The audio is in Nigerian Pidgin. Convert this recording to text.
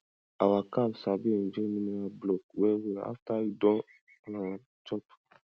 our cow sabi enjoy mineral block wellwell after e don um chop